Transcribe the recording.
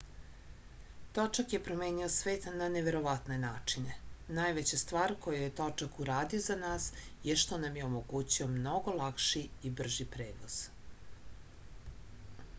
točak je promenio svet na neverovatne načine najveća stvar koju je točak uradio za nas je što nam je omogućio mnogo lakši i brži prevoz